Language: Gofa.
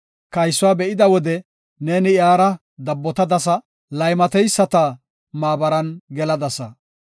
Kaysuwa be7ida wode neeni iyara dabbotadasa; laymateyisata maabaran geladasa.